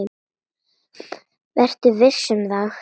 Vertu viss um það.